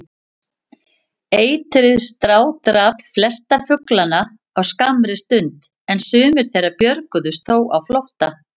Eitrið strádrap flesta fuglana á skammri stund, en sumir þeirra björguðust þó á flótta.